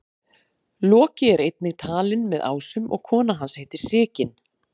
loki er einnig talinn með ásum og kona hans heitir sigyn